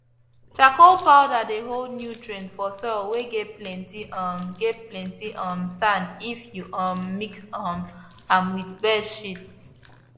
charcoal powder dey hold nutrients for soil whey get plenty um get plenty um sand if you um mix um am with bird shits